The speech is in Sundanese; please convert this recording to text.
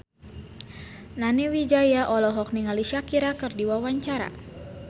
Nani Wijaya olohok ningali Shakira keur diwawancara